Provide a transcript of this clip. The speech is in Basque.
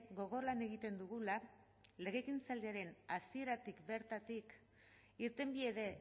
gogor lan egiten dugula legegintzaldiaren hasieratik bertatik irtenbide